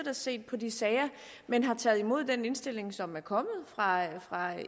og set på de sager men har taget imod den indstilling som er kommet fra